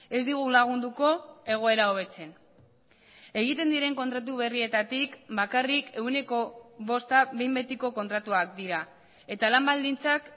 ez digu lagunduko egoera hobetzen egiten diren kontratu berrietatik bakarrik ehuneko bosta behin betiko kontratuak dira eta lan baldintzak